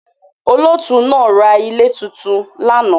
Olóòtú naa ra ilé tuntun lánàá